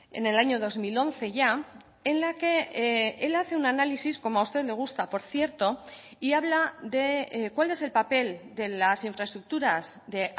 en el año dos mil once ya en la que él hace un análisis como a usted le gusta por cierto y habla de cuáles el papel de las infraestructuras de